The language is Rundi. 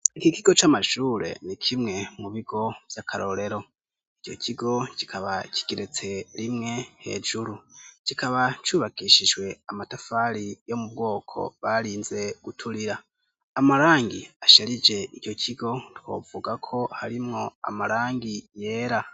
Ikigo c'amashure ni kimwe mu bigo vy'akarorero, ico kigo kikaba kigeretse rimwe hejuru, kikaba cubakishijwe amatafari yo mu bwoko barinze guturira, amarangi asharije ico kigo twovuga ko harimwo amarangi yera.